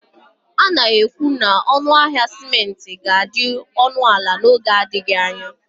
A na-ekwu na ọnụ ahịa simenti ga-adị ọnụ ala n'oge adịghị anya